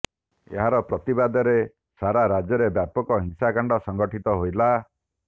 ଏହାର ପ୍ରତିବାଦରେ ସାରା ରାଜ୍ୟରେ ବ୍ୟାପକ ହିଂସାକାଣ୍ଡ ସଂଗଠିତ ହେଲା